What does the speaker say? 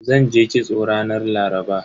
Zanje kitso ranar Laraba.